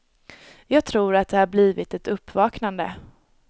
Jag tror att det har blivit ett uppvaknande.